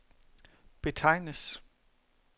betegnes